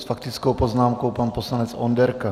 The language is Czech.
S faktickou poznámkou pan poslanec Onderka.